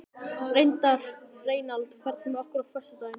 Reynald, ferð þú með okkur á föstudaginn?